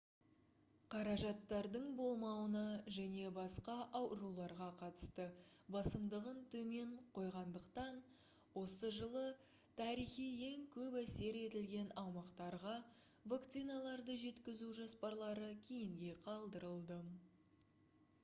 қаражаттардың болмауына және басқа ауруларға қатысты басымдығын төмен қойғандықтан осы жылы тарихи ең көп әсер етілген аумақтарға вакциналарды жеткізу жоспарлары кейінге қалдырылды